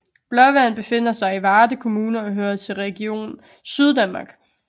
Blåvand befinder sig i Varde Kommune og hører til Region Syddanmark